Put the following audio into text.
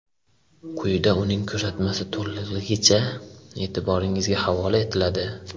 Quyida uning ko‘rsatmasi to‘lig‘icha e’tiboringizga havola etiladi.